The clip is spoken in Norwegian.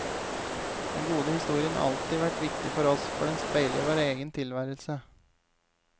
Den gode historien har alltid vært viktig for oss, for den speiler vår egen tilværelse.